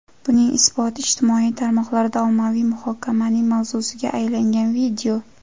Buning isboti ijtimoiy tarmoqlarda ommaviy muhokamaning mavzusiga aylangan video.